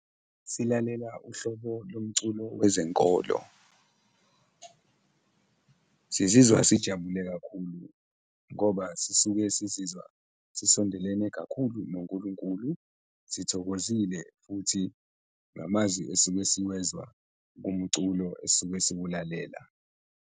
Silalela uhlobo lomculo wezenkolo, sizizwa sijabule kakhulu ngoba sisuke sizizwa sisondelene kakhulu noNkulunkulu, sithokozile futhi ngamazwi esuke siwezwa kumculo esuke siwulalela.